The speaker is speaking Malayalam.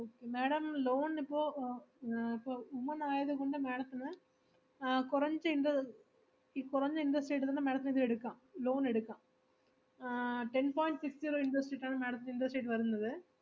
okay, madam loan ന് ഇപ്പൊ ആഹ് ഏർ ഇപ്പോ women ആയത് കൊണ്ട് madam ത്തിന് ആഹ് കൊറച്ച്~ inter~ ഈ കൊറഞ്ഞ interest rate ഇൽ തന്നെ madam ത്തിന് ഇത് എടുക്കാം loan എടുക്കാം ആഹ് ten point six zero interest ഇട്ടാണ് ആണ് madam ത്തിന് interest rate വരുന്നത്.